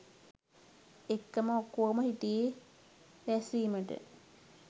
එක්කම ඔක්කෝම හිටියේ යි රැස්වීමට.